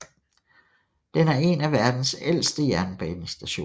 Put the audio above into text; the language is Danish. Den er en af verdens ældste jernbanestationer